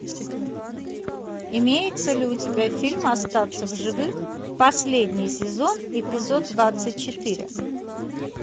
имеется ли у тебя фильм остаться в живых последний сезон эпизод двадцать четыре